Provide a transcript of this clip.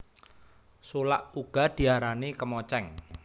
Sulak uga diarani kemocéng